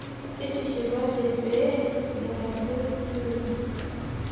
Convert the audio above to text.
Kitishipate pee kidol ajo iyewuo.